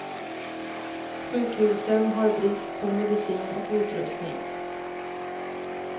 Sjukhusen har brist på medicin och utrustning.